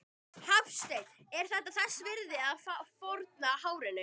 Hafsteinn: Er það þess virði þá að fórna hárinu?